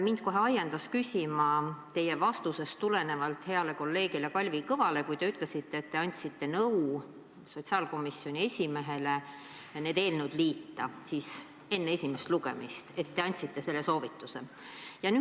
Mind kohe ajendas küsima teie vastus heale kolleegile Kalvi Kõvale, kui te ütlesite, et te andsite sotsiaalkomisjoni esimehele nõu need eelnõud liita enne esimest lugemist, et te andsite selle soovituse.